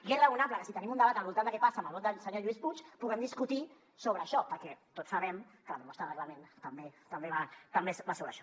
i és raonable que si tenim un debat al voltant de què passa amb el vot del senyor lluís puig puguem discutir sobre això perquè tots sabem que la proposta de reglament també va sobre això